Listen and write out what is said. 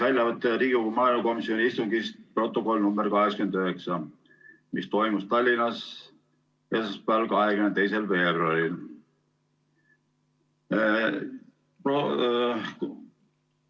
Väljavõte Riigikogu maaelukomisjoni istungist, mis toimus Tallinnas esmaspäeval, 22. veebruaril, protokoll nr 89.